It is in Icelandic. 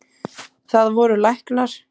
Það voru læknar.